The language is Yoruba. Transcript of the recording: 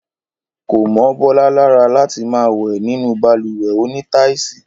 Kò mọ́ Bọ́lá lára láti máa wẹ̀ nínú balùwẹ̀ onítáìsì